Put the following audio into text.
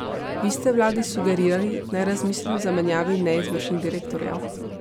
Vi ste vladi sugerirali, naj razmisli o zamenjavi neizvršnih direktorjev.